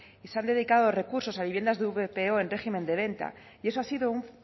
y se han dedicado recursos a viviendas de vpo en régimen de venta y eso ha sido un